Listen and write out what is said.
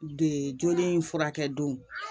De joli in furakɛ don